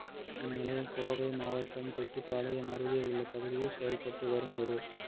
இந்நிலையில் கோவை மாவட்டம் தொட்டிபாளையம் அருகே உள்ள பகுதியில் செயப்பட்டு வரும் ஒரு